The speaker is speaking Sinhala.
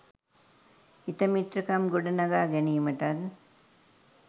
හිතමිත්‍රකම් ගොඩනගා ගැනීමටත්